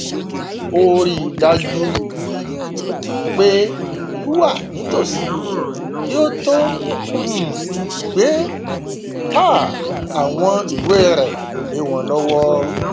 ó rí i dájú pé ẹrí wà nìtòsí kí ó tó um gbé um àwọn ìwé rẹ lé wọn lọwọ